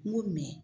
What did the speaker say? N ko